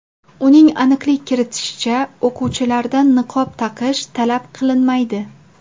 Uning aniqlik kiritishicha, o‘quvchilardan niqob taqish talab qilinmaydi.